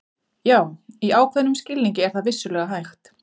Já, í ákveðnum skilningi er það vissulega hægt.